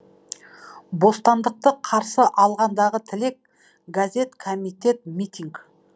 бостандықты қарсы алғандағы тілек газет комитет митинг